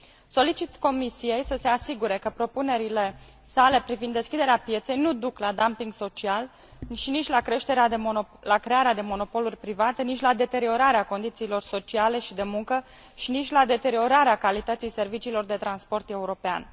Solicit Comisiei să se asigure că propunerile sale privind deschiderea pieței nu duc la dumping social, nici la crearea de monopoluri private, nici la deteriorarea condițiilor sociale și de muncă și nici la deteriorarea calității serviciilor de transport european.